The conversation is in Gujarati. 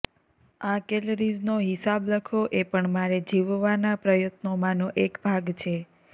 આ કૅલરીઝનો હિસાબ લખવો એ પણ મારે જીવવાના પ્રયત્નોમાંનો એક ભાગ છે